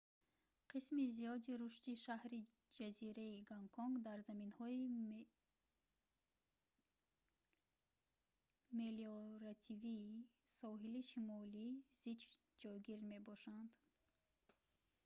қисми зиёди рушди шаҳри ҷазираи гонконг дар заминҳои мелиоративии соҳили шимолӣ зич ҷойгир мебошанд